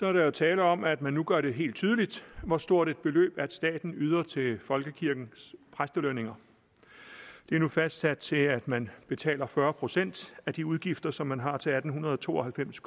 er der jo tale om at man nu gør det helt tydeligt hvor stort et beløb staten yder til folkekirkens præstelønninger det er nu fastsat til at man betaler fyrre procent af de udgifter som man har til atten to og halvfems